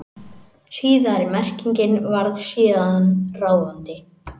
Síðari merkingin varð síðan ráðandi.